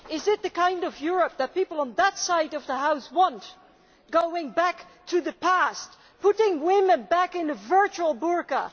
Is it the kind of Europe that people on that side of the House want going back to the past, putting women back in the virtual burka?